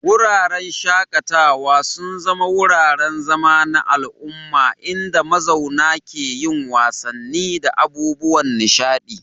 Wuraren shaƙatawa sun zama wuraren zama na al'umma inda mazauna ke yin wasanni da abubuwan nishaɗi.